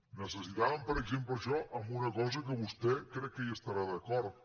necessitàvem per exemple això en una cosa que vostè crec que hi estarà d’acord